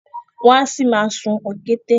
Wọ́n á ṣì ma sún òkété